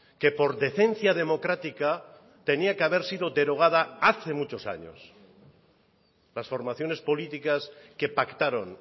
que por decencia democrática tenía que haber sido derogada hace muchos años las formaciones políticas que pactaron